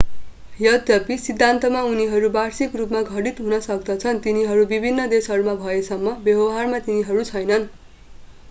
यद्यपि सिद्धान्तमा उनीहरू वार्षिक रूपमा घटित हुन सक्दछन् तिनीहरू विभिन्न देशहरूमा भएसम्म व्यवहारमा तिनीहरू छैनन्।